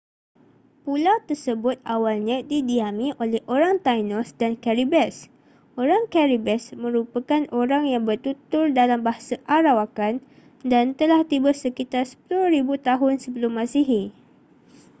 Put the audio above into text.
pulau tersebut awalnya didiami oleh orang taínos dan caribes. orang caribes merupakan orang yang bertutur dalam bahasa arawakan dan telah tiba sekitar 10,000 tahun sebelum masihi